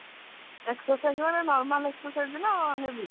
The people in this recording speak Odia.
exercise ମାନେ normal exercise ନା heavy